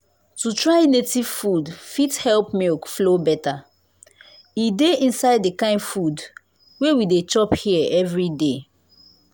to try native food fit help milk flow better. e dey inside the kind food wey we dey chop here everyday.